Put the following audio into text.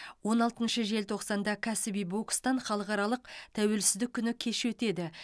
он алтыншы желтоқсанда кәсіби бокстан халықаралық тәуелсіздік күні кеші өтеді